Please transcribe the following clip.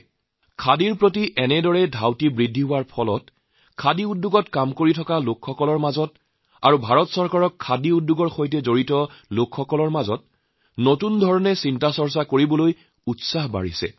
এই খাদীৰ প্ৰতি ৰুচি বঢ়াৰ বাবে খাদী খণ্ডৰ কৰ্মীসকল ভাৰত চৰকাৰৰ খাদীৰ সৈতে জড়িত লোকসকলে নতুনকৈ চিন্তাভাৱনা কৰাৰ উৎসাহ বৃদ্ধি পাইছে